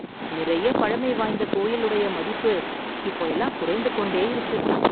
நிறைய பழமை வாய்ந்த கோயில் உடைய மதிப்பு இப்போ எல்லாம் குறைந்து கொண்டே இருக்கு